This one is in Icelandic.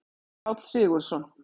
Páll Sigurðsson.